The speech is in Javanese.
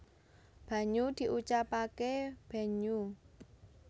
banyu diucapake benhyu